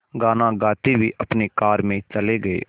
गाना गाते हुए अपनी कार में चले गए